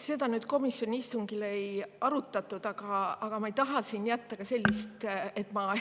Seda komisjoni istungil ei arutatud, aga ma ei taha siin jätta, et ma